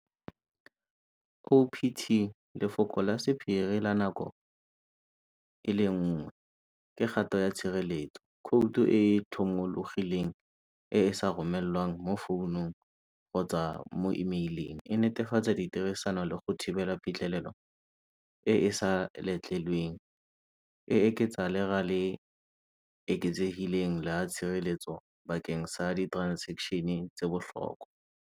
O_P_T lefoko la sephiri la nako e le nngwe ke gato ya tshireletso, khoutu e e thomologileng e e sa romelwang mo founung kgotsa mo email-ing e netefatsa ditirisano le go thibela pitlhelelo e e sa letlelweng e eketsa le gale eketsegileng la tshireletso bakeng sa di transaction-e tse bohlokwa.